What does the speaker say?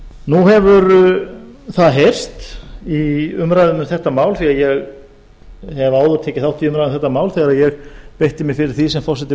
nú hefur það heyrst í umræðum um þetta mál því ég hef áður tekið þátt í umræðum um þetta mál þegar ég beitti mér fyrir því sem forseti